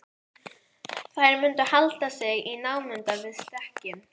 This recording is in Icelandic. Þær mundu halda sig í námunda við stekkinn.